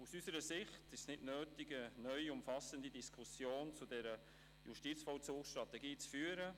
Aus unserer Sicht ist es nicht nötig, eine neue, umfassende Diskussion zu der Justizvollzugsstrategie zu führen.